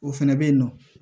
O fɛnɛ bɛ yen nɔ